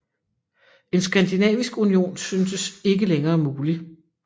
En skandinavisk union syntes ikke længere mulig